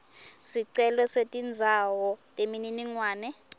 sicelo setindzawo temininingwane